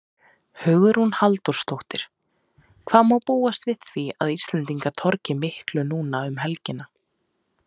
Hugrún Halldórsdóttir: Hvað má búast við því að Íslendingar torgi miklu núna um helgina?